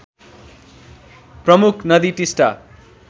प्रमुख नदी टिस्टा